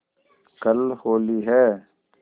कल होली है